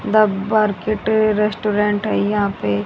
the restaurant है यहां पे--